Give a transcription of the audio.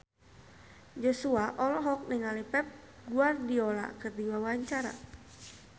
Joshua olohok ningali Pep Guardiola keur diwawancara